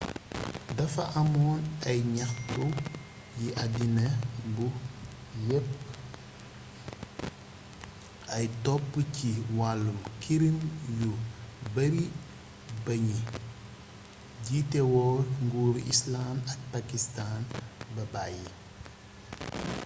dafa amoon ay ñaxtu ci àddina bu yépp ay top ci wàllum kirim yu bari ba ñi njiitéwoon nguuru islànd ak paskistaan ba bayyi